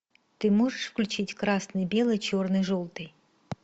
ты можешь включить красный белый черный желтый